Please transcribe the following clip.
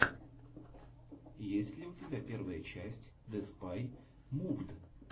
есть ли у тебя первая часть деспай мувд